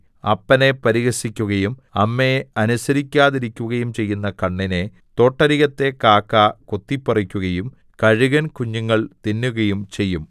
അപ്പനെ പരിഹസിക്കുകയും അമ്മയെ അനുസരിക്കാതിരിക്കുകയും ചെയ്യുന്ന കണ്ണിനെ തോട്ടരികത്തെ കാക്ക കൊത്തിപ്പറിക്കുകയും കഴുകന്‍ കുഞ്ഞുങ്ങൾ തിന്നുകയും ചെയ്യും